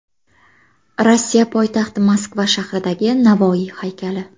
Rossiya poytaxti Moskva shahridagi Navoiy haykali.